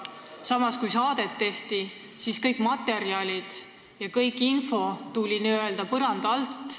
Samas, kui saadet tehti, tulid kõik materjalid ja info n-ö põranda alt.